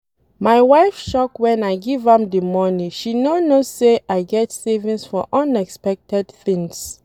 My wife shock wen I give am the money she no know say I get savings for unexpected things